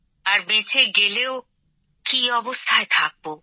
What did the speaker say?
আর বেঁচে গেলেও কি অবস্থায় থাকবো